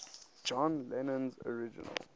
john lennon's original